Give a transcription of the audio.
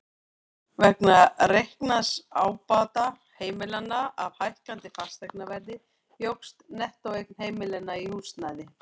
Vegna reiknaðs ábata heimilanna af hækkandi fasteignaverði jókst nettóeign heimilanna í húsnæði.